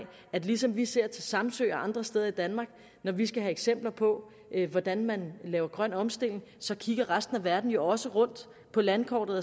at lige som vi ser til samsø og andre steder i danmark når vi skal have eksempler på hvordan man laver grøn omstilling kigger resten af verden også rundt på landkortet